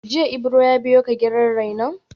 Jiya Ibro ya biyo ka gidan rainon?